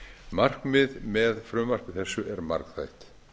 markmið með frumvarpi þessu er margþætt